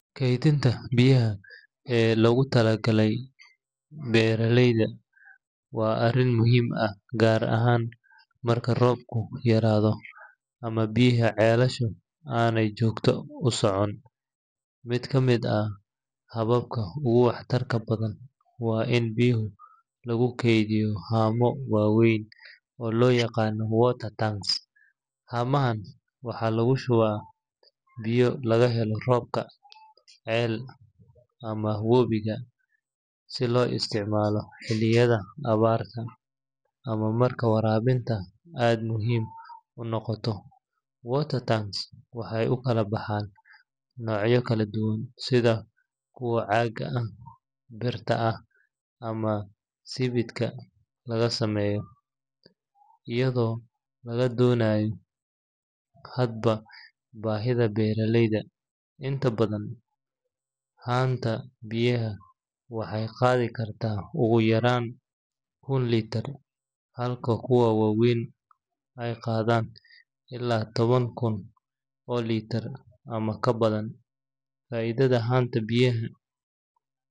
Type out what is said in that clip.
Kaydinta biyaha ee loogu talagalay beeralayda waa arrin muhiim ah, gaar ahaan marka roobku yaraado ama biyaha ceelasha aanay joogto u socon. Mid ka mid ah hababka ugu waxtarka badan waa in biyo lagu keydiyo haamo waaweyn oo loo yaqaan water tanks. Haamahan waxaa lagu shubaa biyo laga helo roobka, ceel, ama wabiga, si loo isticmaalo xilliyada abaarta ama marka waraabintu aad muhiim u noqoto. Water tanks waxay u kala baxaan noocyo kala duwan sida kuwa caaga ah, birta ah, ama sibidhka laga sameeyo, iyadoo laga dooranayo hadba baahida beeraleyda. Inta badan, haanta biyaha waxay qaadi kartaa ugu yaraan kun litir, halka kuwa waaweyn ay gaaraan ilaa toban kun oo litir ama ka badan. Faa’iidada haanta biyaha.